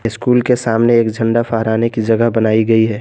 School के सामने एक झंडा फहराने की जगह बनाई गई है।